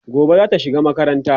gobe zata shiga makaranta